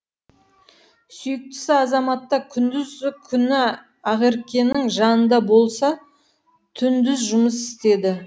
сүйіктісі азаматта күндізі күні ақеркенің жанында болса түндіз жұмыс істеді